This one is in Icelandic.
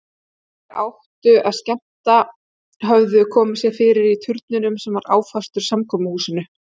Þeir sem áttu að skemmta höfðu komið sér fyrir í turninum sem var áfastur samkomuhúsinu.